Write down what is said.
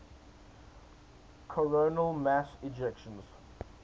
coronal mass ejections